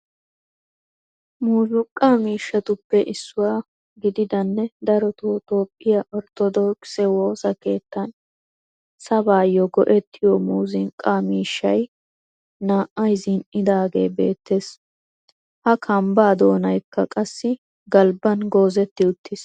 Muuzzuqqaa mishshattuppe issuwaa gididanne darotoo toophphiya ortodokisse woosaa keettan sabaayo go'ettiyo muzzuqqa miishshay naa'ay zin'idaagee bettees. Ha kambbaa doonaykka qassi galbban goozzetti uttiis.